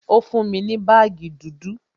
Ó fún mi ní baagi dúdú